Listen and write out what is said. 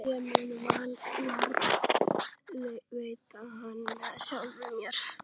Ég mun varðveita hana með sjálfri mér.